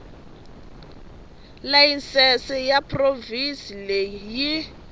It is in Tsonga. layisense ya provhinsi leyi yi